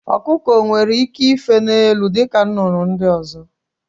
Ọkụkọ onwere ike ife n'elu dịka nnụnụ ndị ọzọ?